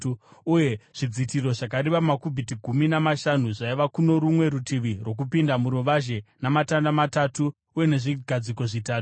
uye zvidzitiro zvakareba makubhiti gumi namashanu zvaiva kuno rumwe rutivi rwokupinda muruvazhe, namatanda matatu uye nezvigadziko zvitatu.